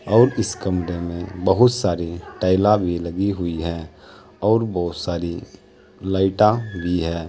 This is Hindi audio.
और इस कमरे में बहुत सारी टाइला भी लगी हुई और बहुत सारी लाइटा भी है।